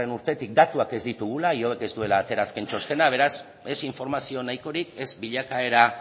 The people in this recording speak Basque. urtetik datuak ez ditugula ihobek ez duela atera azken txostena beraz ez informazio nahikorik ez bilakaera